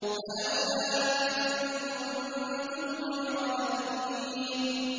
فَلَوْلَا إِن كُنتُمْ غَيْرَ مَدِينِينَ